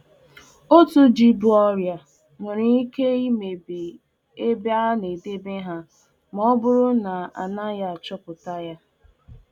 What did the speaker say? Otu ogbe ji bu ọrịa pụrụ imebi ji niile dị n'ọbá ma ọ ma ọ bụrụ achọpụtaghi.